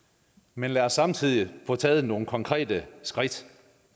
men lad os samtidig få taget nogle konkrete skridt